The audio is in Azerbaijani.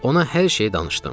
Ona hər şeyi danışdım.